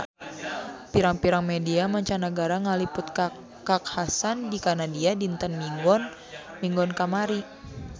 Pirang-pirang media mancanagara ngaliput kakhasan di Kanada dinten Minggon kamari